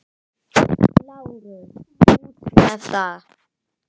LÁRUS: Út með það!